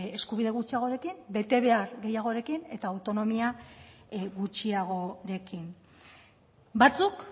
eskubide gutxiagorekin betebehar gehiagorekin eta autonomia gutxiagorekin batzuk